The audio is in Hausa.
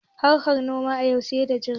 Harkan noma a yau sai da jari